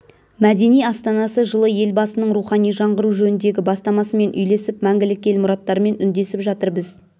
мәдени астанасы жылы елбасының рухани жаңғыру жөніндегі бастамасымен үйлесіп мәңгілік ел мұраттарымен үндесіп жатыр біз